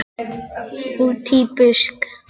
Útí busk.